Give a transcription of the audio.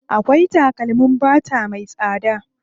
Akwai takalmin fata me tsada.